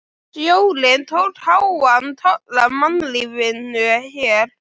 Sjórinn tók háan toll af mannlífinu hér.